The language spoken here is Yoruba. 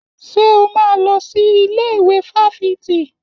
Ṣé o máa lọ sí ilé ìwé fáfitì?